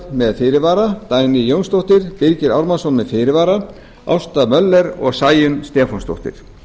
með fyrirvara dagný jónsdóttir birgir ármannsson með fyrirvara ásta möller og sæunn stefánsdóttir